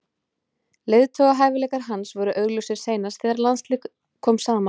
Leiðtogahæfileikar hans voru augljósir seinast þegar landsliðið kom saman.